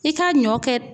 I ka ɲɔ kɛ